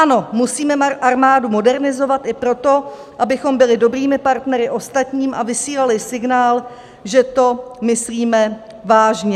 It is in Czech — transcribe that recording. Ano, musíme armádu modernizovat i proto, abychom byli dobrými partnery ostatním a vysílali signál, že to myslíme vážně.